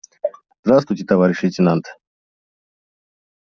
здравствуйте товарищ лейтенант